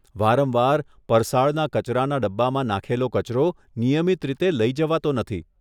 વારંવાર, પરસાળના કચરાના ડબ્બામાં નાંખેલો કચરો નિયમિત રીતે લઇ જવાતો નથી.